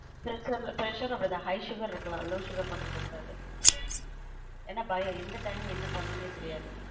presure அப்டி தான் high sugar இருக்கலான் low sugar மட்டும் இருக்க கூடாது ஏன்னா பயம் எந்த time என்ன பன்னுனே தெரியாது